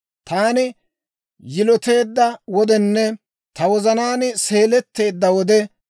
Taani yiloteedda wodenne ta wozanaan seeletteedda wode,